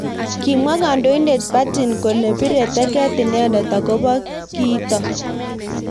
Kimwa kandoindet Putin kole bire teget inendet akobo kitok.